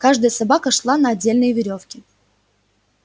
каждая собака шла на отдельной верёвке